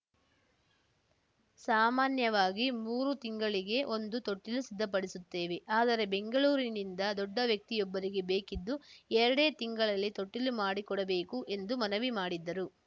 ಸಾಮಾನ್ಯವಾಗಿ ಮೂರು ತಿಂಗಳಿಗೆ ಒಂದು ತೊಟ್ಟಿಲು ಸಿದ್ಧಪಡಿಸುತ್ತೇವೆ ಆದರೆ ಬೆಂಗಳೂರಿನಿಂದ ದೊಡ್ಡ ವ್ಯಕ್ತಿಯೊಬ್ಬರಿಗೆ ಬೇಕಿದ್ದು ಎರಡೇ ತಿಂಗಳಲ್ಲಿ ತೊಟ್ಟಿಲು ಮಾಡಿಕೊಡಬೇಕು ಎಂದು ಮನವಿ ಮಾಡಿದ್ದರು